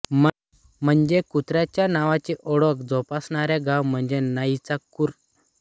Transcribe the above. म्हणजे कुत्राच्या नावाची ओळख जोपासणारे गाव म्हणजे नाईचाकूर